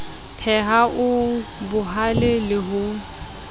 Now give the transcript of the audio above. pheha o bohale le ho